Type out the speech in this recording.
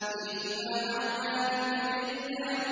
فِيهِمَا عَيْنَانِ تَجْرِيَانِ